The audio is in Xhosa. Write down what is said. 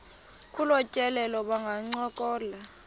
kolu tyelelo bangancokola